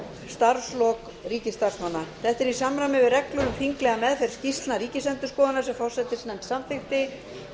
starfslok ríkisstarfsmanna þetta er í samræmi við reglur um þinglega meðferð skýrslna ríkisendurskoðunar sem forsætisnefnd samþykkti